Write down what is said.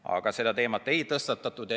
Aga seda teemat ei tõstatatud.